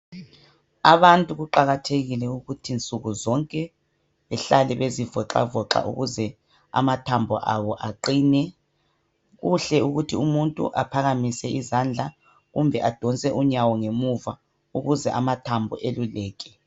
Abantu kuqakathekile ukuthi nsukuzonke behlale bezivoxavoxa ukuze amathambo abo aqine. Kuhle ukuthi umuntu aphakamise izandla kumbe adonse unyawo ngemuva ukuze amathambo eluleke.